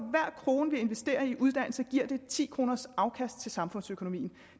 krone vi investerer i uddannelse giver det ti kroners afkast til samfundsøkonomien